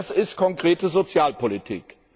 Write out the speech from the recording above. Das ist konkrete Sozialpolitik.